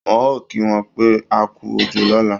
Wọ́n ò kí wọn pé akú òjò lọ̀la